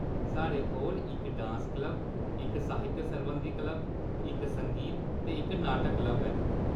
साढ़े कोल इक डांस क्लब, इक साहित्य सरबंधी क्लब, इक संगीत ते इक नाटक क्लब ऐ।